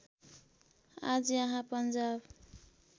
आज यहाँ पन्जाब